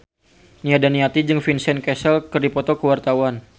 Nia Daniati jeung Vincent Cassel keur dipoto ku wartawan